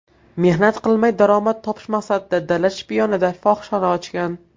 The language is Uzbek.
mehnat qilmay daromad topish maqsadida dala shiyponida fohishaxona ochgan.